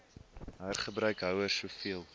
hergebruik houers soveel